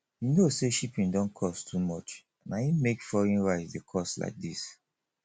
you know say shipping don cost too much na im make foreign rice dey cost like this